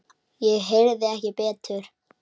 Ég heyrði ekki betur.